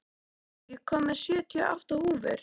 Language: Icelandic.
Arnmundur, ég kom með sjötíu og átta húfur!